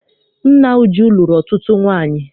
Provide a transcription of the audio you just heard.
Nna Uju lụrụ ọtụtụ nwaanyị.